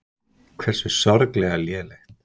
Hversu sorglega lélegt.